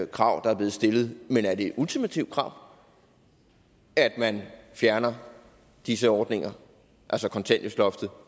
krav der er blevet stillet er det et ultimativt krav at man fjerner disse ordninger altså kontanthjælpsloftet